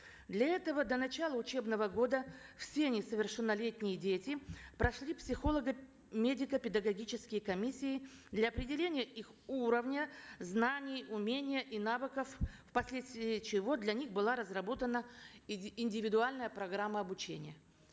для этого до начала учебного года все несовершеннолетние дети прошли психолого медико педагогические комиссии для определения их уровня знаний умения и навыков впоследствии чего для них была разработана индивидуальная программа обучения